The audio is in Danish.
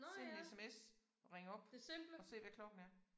Send en sms og ring op og se hvad klokken er